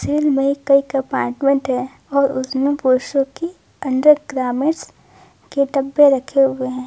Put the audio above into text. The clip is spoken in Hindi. में कई कंपार्टमेंट है और उसमें पुरुषों की अंदर ग्र ग्रामस के डब्बे रखे हुए हैं।